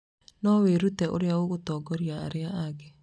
No wĩrute ũrĩa ũngĩtongoria arĩa angĩ.